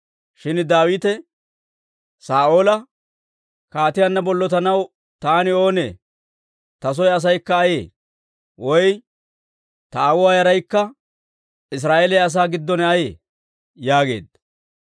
Shin Daawite Saa'oola, «kaatiyaanna bollotanaw taani oonee? Ta soo asaykka ayee? Woy ta aawuwaa yaraykka Israa'eeliyaa asaa giddon ayee?» yaageedda.